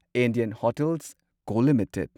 Indian Hotels Co limited